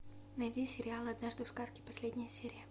найди сериал однажды в сказке последняя серия